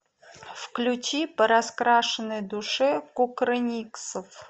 включи по раскрашенной душе кукрыниксов